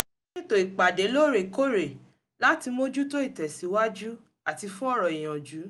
ó ṣètò ìpàdé lóórèkóórè láti mójútó ìtẹ̀síwájú àti fún ọ̀rọ̀ ìyànjú